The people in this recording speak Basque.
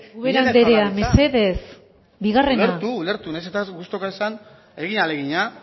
ubera anderea mesedez bigarrena ulertu ulertu nahiz eta gustukoa ez izan egin ahalegina